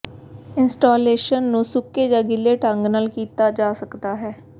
installation ਨੂੰ ਸੁੱਕੇ ਜਾਂ ਗਿੱਲੇ ਢੰਗ ਨਾਲ ਕੀਤਾ ਜਾ ਸਕਦਾ ਹੈ